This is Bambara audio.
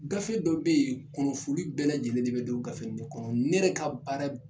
Gafe dɔ bɛ ye kunnafoni bɛɛ lajɛlen de bɛ don gafe in de kɔnɔ ne yɛrɛ ka baara